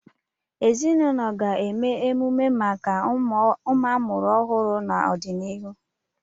Ezinụlọ ga-eme emume ọmụmụ maka ụmụ amụrụ ọhụrụ n'ọdịnihu.